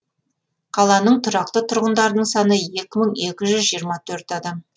қаланың тұрақты тұрғындарының саны екі мың екі жүз жиырма төрт адам